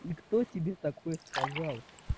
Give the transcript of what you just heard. и кто тебе такое сказал